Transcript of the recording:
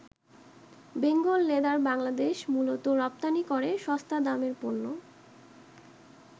Bengal leather Bangladesh মূলত রপ্তানি করে সস্তা দামের পণ্য।